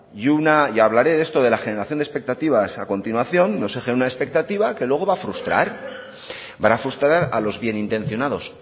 y hablaré de esto de la generación de expectativas a continuación no se genere una expectativa que luego va a frustrar a los bien intencionados